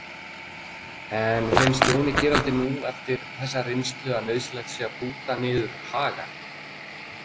En finnst Jóni Gerald nú eftir þessa reynslu að nauðsynlegt sé að búta niður Haga?